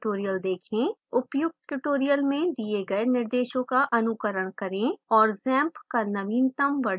उपर्युक्त tutorial में दिए गए निर्देशों का अनुकरण करें और xampp का नवीनतम version संस्थापित करें